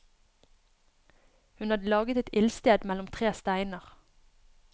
Hun hadde laget et ildsted mellom tre steiner.